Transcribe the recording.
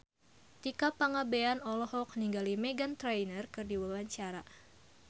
Tika Pangabean olohok ningali Meghan Trainor keur diwawancara